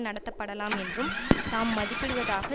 நடத்தப்படலாம் என்றும் தாம் மதிப்பிடுவதாக